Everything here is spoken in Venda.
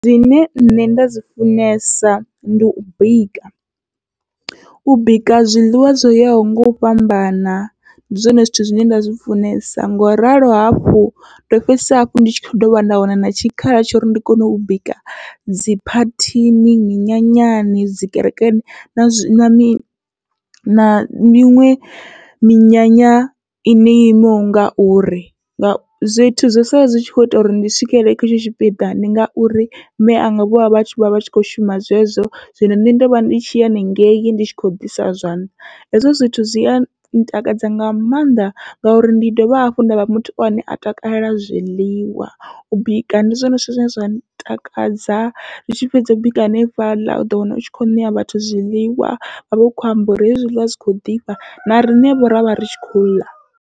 Zwine nṋe nda zwi funesa ndi u bika, u bika zwiḽiwa zwo yaho ngau fhambana ndi zwone zwithu zwine nda zwi funesa, ngoralo hafhu ndo fhedzisela hafhu ndi dovha nda wana na tshikhala tsho uri ndi kone u bika dzi phathini, minyanyani, dzi kerekeni na zwi na miṅwe na miṅwe minyanya ine yo imaho ngauri, zwithu zwo sala zwi kho ita uri ndi swikelele kha hetsho tshipiḓa ndi ngauri mianga vhovha vha vha tshi kho shuma zwezwo. Zwino nṋe ndovha ndi tshi ya haningei ndi tshi khou ḓisa zwanḓa, hezwo zwithu zwia ntakadza nga maanḓa ngauri ndi dovha hafhu ndavha muthu ane a takalela zwiḽiwa, u bika ndi zwone zwithu zwine zwa takadza ri tshi fhedza u bika hanefhaḽa uḓo wana utshi kho ṋea vhathu zwiḽiwa vha vha kho amba uri hezwi zwiḽiwa zwi kho ḓifha, na riṋe vho ravha ri tshi khou ḽa.